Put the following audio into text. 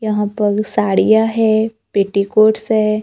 यहां पर साड़ियां है पेटीकोट्स है।